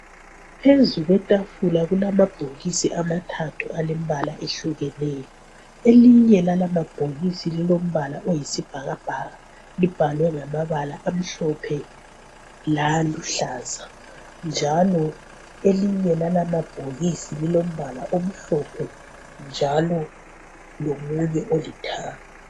Phezu kwetafula lulamabhokisi amathathu alembala ehlukeneyo. Elinye lalawa mabhokisi lilombala oyisibhakabhaka, libhaliwe ngamabala amhlophe laluhlaza, njalo elinye lala mabhokisi lilombala omhlophe njalo lomunye olithanga.